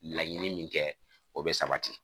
Laɲini min kɛ o bɛ sabati